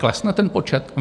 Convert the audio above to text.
Klesne ten počet?